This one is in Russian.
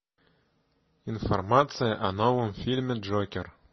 информация о новом фильме джокер